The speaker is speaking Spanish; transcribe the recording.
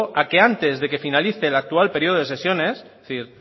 a que antes de que finalice el actual periodo de sesiones